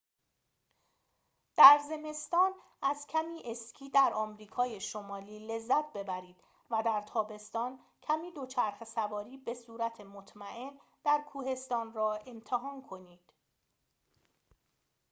در زمستان از کمی اسکی در آمریکای شمالی لذت ببرید و در تابستان کمی دوچرخه‌سواری بصورت مطمئن در کوهستان را امتحان کنید